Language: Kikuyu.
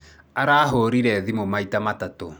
Arahũrĩire thimũ maita matatũ.